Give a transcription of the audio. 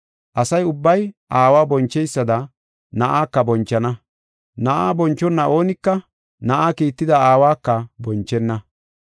Asa ubbay Aawa boncheysada Na7aaka bonchana. Na7aa bonchona oonika Na7aa kiitida Aawaka bonchenna.